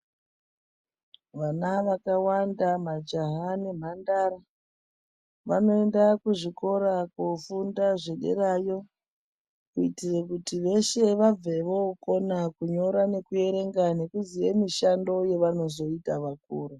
Vana vakawanda ,majaha nemhandara vanoenda kuzvikora kofunda zvederayo kuitire kuti veshe vabve vokona kunyora nekuverenga nekuziye mishando yavanozoita vakura.